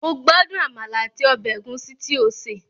Mo gbádùn àmàlà àti ọbẹ̀ ẹ̀gúsí tí ó sè